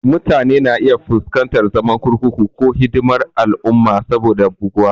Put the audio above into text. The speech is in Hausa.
Mutane na iya fuskantar zaman kurkuku ko hidimar al'umma saboda buguwa.